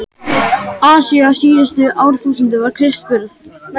Asíu á síðustu árþúsundum fyrir Krists burð.